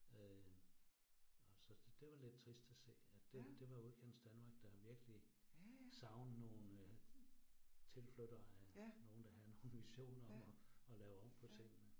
Øh. Og så det var lidt trist at se, at det det var udkantsdanmark, der virkelig savner nogle tilflyttere af, nogen der havde nogle visioner om at lave om på tingene